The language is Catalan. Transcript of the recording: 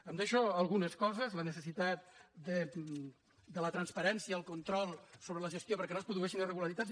em deixo algunes coses la necessitat de la transpa·rència i el control sobre la gestió perquè no es produ·eixin irregularitats